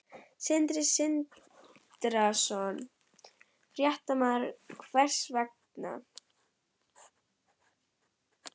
Sindri Sindrason, fréttamaður: Hvers vegna?